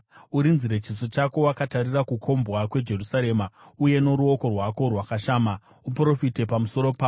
Urinzire chiso chako wakatarira kukombwa kweJerusarema uye noruoko rwako rwakashama uprofite pamusoro paro.